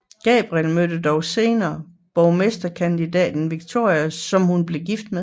Gabrielle møder dog senere borgmesterkandidaten Victor som hun bliver gift med